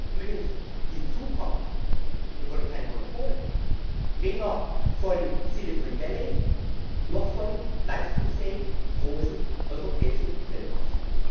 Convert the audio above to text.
Übrigens kommt hinzu Wir wollen keine Monopole, weder von Silicon Valley noch von leistungsfähigen großen europäischen Telekoms.